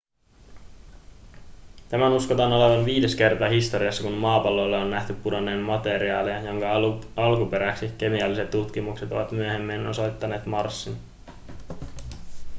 tämän uskotaan olevan viides kerta historiassa kun maapallolle on nähty pudonneen materiaalia joka alkuperäksi kemialliset tutkimukset ovat myöhemmin osoittaneet marsin